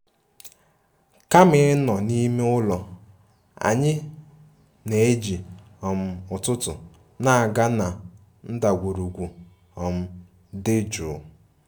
Kama ịnọ n'ime ụlọ, anyị na-eji um ụtụtụ na-aga na ndagwurugwu um dị jụụ